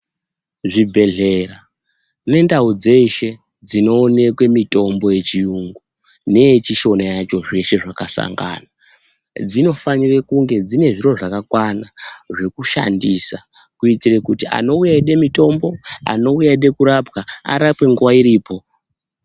Zvi bhedhlera ne ndau dzeshe dzino onekwe mitombo ye chiyungu neye chishona yacho zveshe zvaka sangana dzino fanire kunge dzine zviro zvaka kwana zveku shandisa kuitire kuti anouya eyide mutombo ano uya eyide kurapwa arapwe nguva iripo.